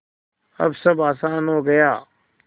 अब सब आसान हो गया